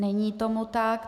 Není tomu tak.